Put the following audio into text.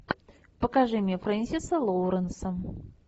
покажи мне фрэнсиса лоуренса